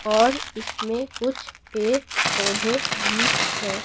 और इसमें कुछ पेर पौधे भी हैं।